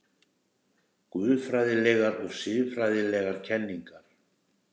GUÐFRÆÐILEGAR OG SIÐFRÆÐILEGAR KENNINGAR